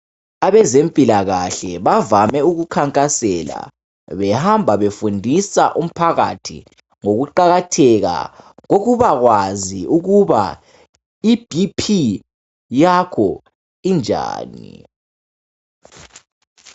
Abezempilakahle bavame ukukhankasela behamba befundisa umphakathi ngokuqakatheka bokubakwazi ukuba iBP yakho injani.